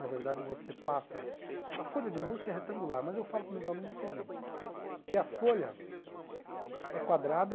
Na verdade, você passa... A folha de música é retangular, mas eu falo para os meus alunos o seguinte, que a folha é quadrada...